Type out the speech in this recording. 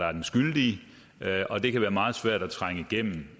er den skyldige og det kan være meget svært at trænge igennem